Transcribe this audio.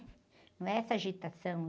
Não é essa agitação.